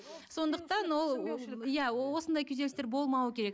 сондықтан ол иә осындай күйзелістер болмауы керек